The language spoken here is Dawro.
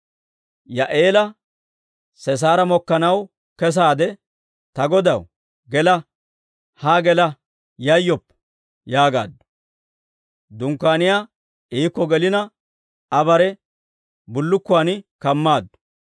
Yaa'eela Sisaara mokkanaw kesaade, «Ta godaw, gela; haa gela; yayyoppa» yaagaaddu. Dunkkaaniyaa iikko gelina, Aa bare bullukkuwan kammaaddu.